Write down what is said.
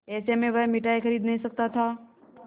ऐसे में वह मिठाई खरीद नहीं सकता था